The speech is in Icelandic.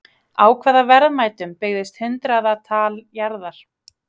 Á hvaða verðmætum byggðist hundraðatal jarða?